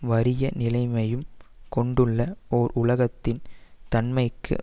வறிய நிலையையும் கொண்டுள்ள ஓர் உலகத்தின் தன்மைக்கு